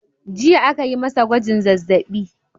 Jiya aka yi masa gwajin zazzabi.